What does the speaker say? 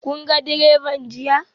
Kun ga direban jiya?